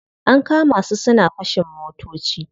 An kama su suna fashin motoci.